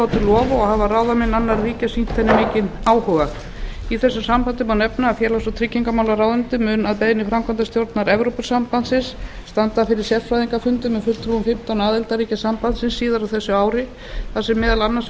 lof og hafa ráðamenn annarra ríkja sýnt henni mikinn áhuga í þessu sambandi má nefna að félags og tryggingamálaráðuneytið mun að beiðni framkvæmdastjórnar evrópusambandsins standa fyrir sérfræðingafundum með fulltrúum fimmtán aðildarríkjum sambandsins síðar á þessu ári þar sem meðal annars